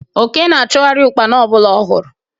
Oke na-achụgharị Ụkpana ọbụla ọ hụrụ